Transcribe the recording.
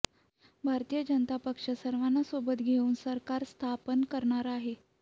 भारतीय जनता पक्ष सर्वांना सोबत घेऊन सरकार स्थापन करणार आहे